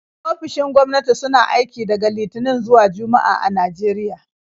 Ofisoshin gwamnati suna aiki daga Litinin zuwa Juma'a a Najeriya.